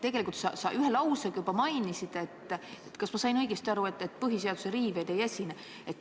Tegelikult sa ühe lausega seda juba mainisid, aga ma küsin üle: kas ma sain õigesti aru, et põhiseaduse riivet ei esine?